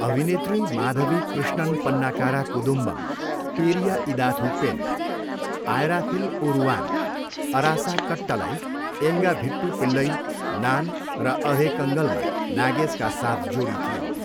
अभिनेत्री माधवी कृष्णन पन्नाकारा कुदुम्बम, पेरिया इदाथु पेन, आयराथिल ओरुवान, अरासा कट्टलाई, एङ्गा भिट्टू पिल्लई, नान र अधे कङ्गलमा नागेशका साथ जोडी थिइन्।